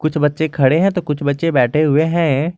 कुछ बच्चे खड़े हैं तो कुछ बच्चे बैठे हुए हैं।